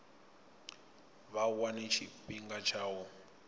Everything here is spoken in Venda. vha wane tshifhinga tsha u